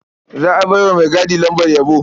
Za a bai wa maigadi lambar yabo.